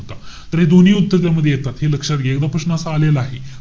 तर हे दोन्ही उत्तर त्यामध्ये येतात. हे लक्षात घ्या. एकदा असा प्रश्न आलेला आहे.